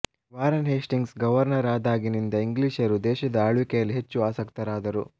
Warren Hastings governor ಆದಾಗಿನಿಂದ ಇಂಗ್ಲಿಷರು ದೇಶದ ಆಳ್ವಿಕೆಯಲ್ಲಿ ಹೆಚ್ಚು ಆಸಕ್ತರಾದರು